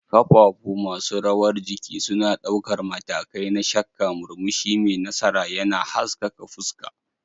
Kafafu masu rawar jiki suna ɗaukar matakai na shakka, murmushi mai nasara yana haskaka fuska